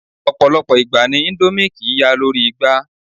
Ọ̀pọ̀lọpọ̀ ìgbà ni indomie kìí ya lórí igba